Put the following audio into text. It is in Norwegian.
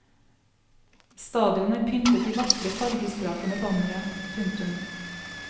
Stadion er pyntet i vakre fargesprakende bannere. punktum